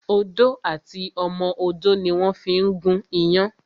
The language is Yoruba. Odó àti ọmọ odó ni wón fí ń gún iyán